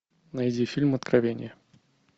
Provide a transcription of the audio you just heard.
найди фильм откровение